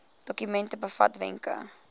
dokument bevat wenke